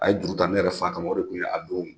A ye juru ta ne yɛrɛ fa kama, o de tun ye a don